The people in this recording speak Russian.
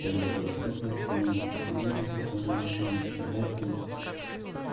первый преступник паники сменился спокойной решимостью вестоны